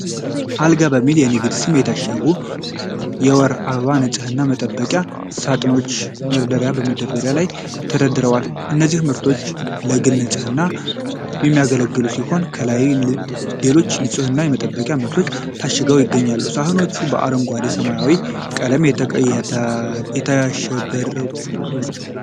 አልጋ በሚል የንግድ ስም የታሸጉ የወር አበባ ንፅህና መጠበቂያ ሳጥኖች፣ በመደብር መደርደሪያ ላይ ተደርድረዋል። እነዚህ ምርቶች ለግል ንፅህና የሚያገለግሉ ሲሆን፣ ከላይም ሌሎች የንፅህና መጠበቂያ ምርቶች ታሽገው ይገኛሉ። ሳጥኖቹ በአረንጓዴና በሰማያዊ ቀለማት ያሸበረቁ ናቸው።